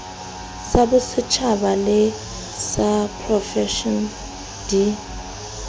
tsabosetjhaba le ysa profense di